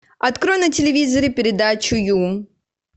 открой на телевизоре передачу ю